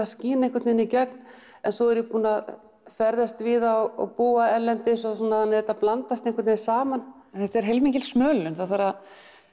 skín einhvern veginn í gegn svo er ég búin að ferðast víða og búa erlendis svo þetta blandast einhvern veginn saman þetta er heilmikil smölun það þarf að